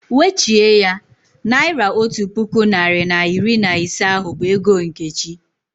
Wechie ya! Naira otu puku narị na iri na ise ahụ bụ ego Nkechi